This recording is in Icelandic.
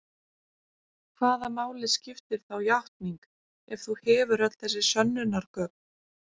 Hvaða máli skiptir þá játning ef þú hefur öll þessi sönnunargögn?